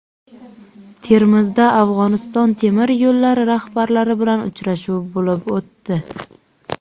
Termizda Afg‘oniston temir yo‘llari rahbarlari bilan uchrashuv bo‘lib o‘tdi.